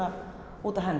út af henni